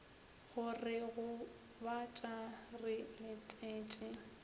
go re gobatša re letetše